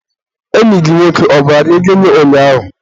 enyi gị nwoke ọ gwara gị gịnị ụnyaahụ?